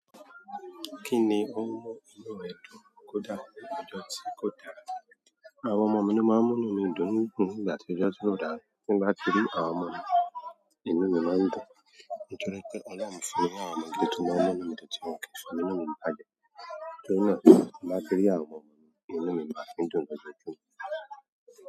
Kíni ó ń mú inú ẹ dùn kódà ọjọ́ tí kò dára? Àwọn ọmọ mi ló máa ń mú inú mi dùn nígbà tí ọjọ́ kò dára. Nígbà tí mo rí àwọn ọmọ mi, inú mi máa ń dùn. Nítorí pé Ọlọ́run fún mi ní àwọn ọmọ gidi tó máa ń mú inú mi dùn tí wọn ò kì í fi múnú mi bàjẹ́. Nítorí náà, bí mo bá rí àwọn ọmọ mi, inú mi máa ń dùn lójoojúmọ́.